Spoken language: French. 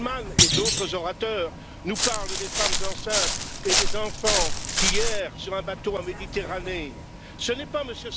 Bullmann et d'autres orateurs nous parlent des femmes enceintes et des enfants qui errent sur un bateau en Méditerranée ce n'est pas M.